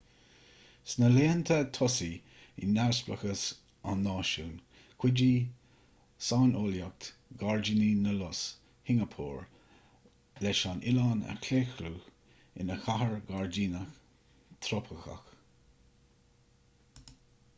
sna laethanta tosaigh i neamhspleáchas an náisiúin chuidigh saineolaíocht ghairdíní na lus shingeapór leis an oileán a chlaochlú ina chathair ghairdíneach thrópaiceach